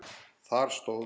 Þar stóð